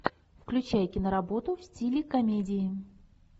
включай киноработу в стиле комедии